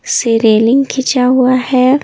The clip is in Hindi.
से रेलिंग खींचा हुआ है।